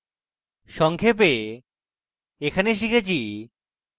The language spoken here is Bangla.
সংক্ষেপে in tutorial আমরা শিখেছি: